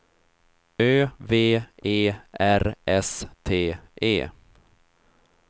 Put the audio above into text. Ö V E R S T E